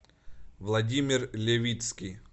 владимир левицкий